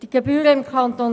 Die Gebühren im Kanton